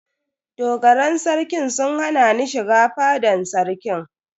Dogaran Sarkin sun hana ni shiga fadan sarki.